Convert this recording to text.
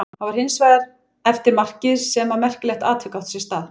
Það var hins vegar eftir markið sem að merkilegt atvik átti sér stað.